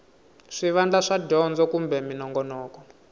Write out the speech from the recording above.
swivandla swa dyondzo kumbe minongonoko